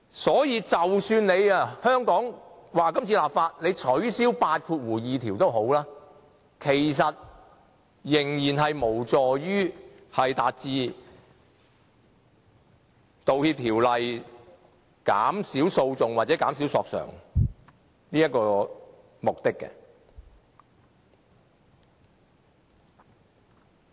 所以，即使香港這次立法取消第82條，其實仍然無助《條例草案》達致減少訴訟或索償的目的。